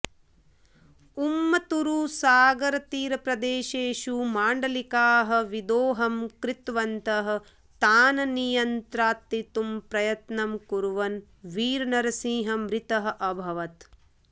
उम्मत्तूरु सागरतीरप्रदेशेषु माण्डलिकाः विदोहम् कृतवन्तः तान् नियान्त्रितुम् प्रयत्नम् कुर्वन् वीरनरसिंहः मृतः अभवत्